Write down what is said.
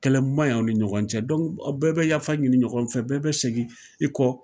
Kɛlɛko man ɲi ani ɲɔgɔn cɛ bɛɛ bɛ yafa ɲini ɲɔgɔn fɛ, bɛɛ bɛ segin i kɔ.